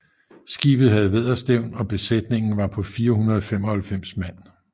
Skibet havde vædderstævn og besætningen var på 495 mand